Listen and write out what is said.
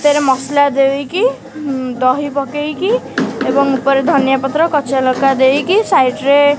ତେରେ ମସଲା ଦେଇକି ଉମ୍ ଦହି ପକେଇକି ଏବଂ ଉପରେ ଧନିଆ ପତ୍ର କଞ୍ଚା ଲଙ୍କା ଦେଇକି ସାଇଡ୍ ରେ --